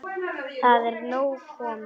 Það er nóg komið.